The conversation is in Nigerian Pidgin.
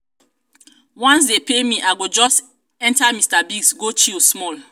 once dey pay me i go just enta mr biggs go chill small